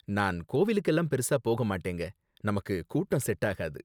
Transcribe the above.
நான் கோவிலுக்கெல்லாம் பெருசா போக மாட்டேங்க, நமக்கு கூட்டம் செட் ஆகாது